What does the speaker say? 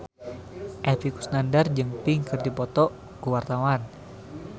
Epy Kusnandar jeung Pink keur dipoto ku wartawan